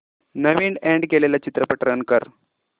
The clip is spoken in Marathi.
नवीन अॅड केलेला चित्रपट रन कर